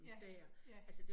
Ja, ja